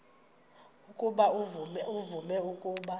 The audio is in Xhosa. ukuba uvume ukuba